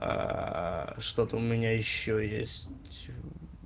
аа что-то у меня ещё есть